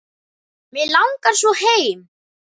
Mig langar svo heim.